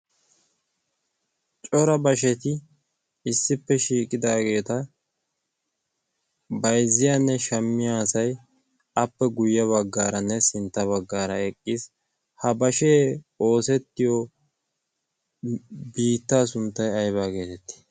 cora basheti issippe shiiqidaageeta baizziyaanne shammiyaasai appe guyye baggaaranne sintta baggaara eqqiis. ha bashee oosettiyo biittaa sunttai aibaa geetettii?